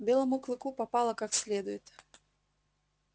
белому клыку попало как следует